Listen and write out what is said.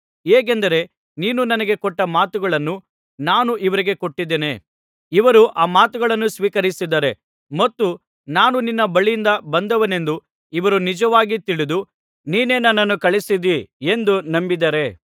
ಹೇಗೆಂದರೆ ನೀನು ನನಗೆ ಕೊಟ್ಟ ಮಾತುಗಳನ್ನು ನಾನು ಇವರಿಗೆ ಕೊಟ್ಟಿದ್ದೇನೆ ಇವರು ಆ ಮಾತುಗಳನ್ನು ಸ್ವೀಕರಿಸಿದ್ದಾರೆ ಮತ್ತು ನಾನು ನಿನ್ನ ಬಳಿಯಿಂದ ಬಂದವನೆಂದು ಇವರು ನಿಜವಾಗಿ ತಿಳಿದು ನೀನೇ ನನ್ನನ್ನು ಕಳುಹಿಸಿದ್ದೀ ಎಂದು ನಂಬಿದ್ದಾರೆ